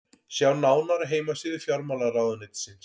sjá nánar á heimasíðu fjármálaráðuneytisins